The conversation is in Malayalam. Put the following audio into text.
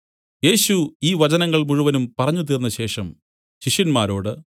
യേശു ഈ വചനങ്ങൾ മുഴുവനും പറഞ്ഞു തീർന്നശേഷം ശിഷ്യന്മാരോട്